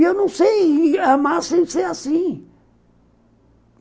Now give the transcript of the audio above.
E eu não sei amar sem ser assim.